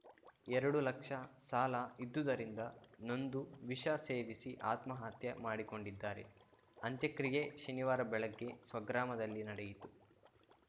ಎರಡು ಲಕ್ಷ ಸಾಲ ಇದ್ದುದರಿಂದ ನೊಂದು ವಿಷ ಸೇವಿಸಿ ಆತ್ಮಹತ್ಯೆ ಮಾಡಿಕೊಂಡಿದ್ದಾರೆ ಅಂತ್ಯಕ್ರಿಯೆ ಶನಿವಾರ ಬೆಳಗ್ಗೆ ಸ್ವಗ್ರಾಮದಲ್ಲಿ ನಡೆಯಿತು